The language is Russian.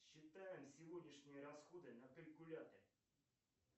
считаем сегодняшние расходы на калькуляторе